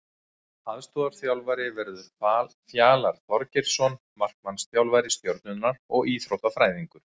Aðalþjálfari verður Fjalar Þorgeirsson markmannsþjálfari Stjörnunnar og Íþróttafræðingur.